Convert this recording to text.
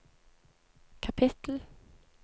kapittel